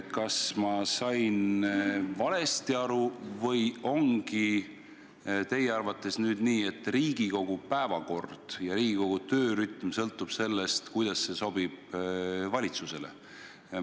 Kas ma sain valesti aru või ongi teie arvates nüüd nii, et Riigikogu päevakord ja Riigikogu töörütm sõltub sellest, kuidas see sobib valitsusele?